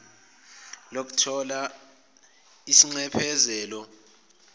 lokuthola isinxephezelo ngomonakalo